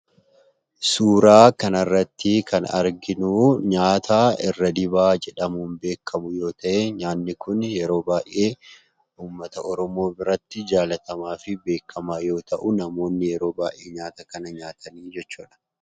Suuraa kanarratti kan arginu nyaata irra dibaa jedhamuun beekamu yoo ta'ee , nyaanni kunii yeroo baayyee uummmata Oromoo biratti jaalatamaafi beekamaa yoo ta'u, namoonni yeroo baayyee nyaata kana nyaatu jechuudha.